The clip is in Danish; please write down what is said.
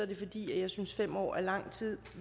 det fordi jeg synes fem år er lang tid